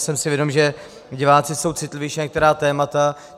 Jsem si vědom, že diváci jsou citlivější na některá témata.